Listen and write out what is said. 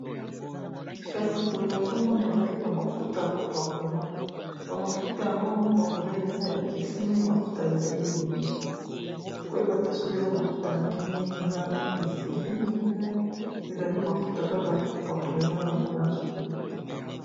Kasi boye nazomona ezali ba mafuta ya kopakola ba mafuta yango ya kopakola eza ekeseni mafuta ezali ebele koyeba te soki eza mafuta nini ezali viseri nobia ezali mafuta kaka ya kopakola eza na bamelage ebele.